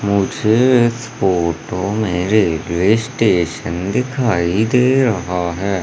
मुझे इस फोटो में रेलवे स्टेशन दिखाई दे रहा है।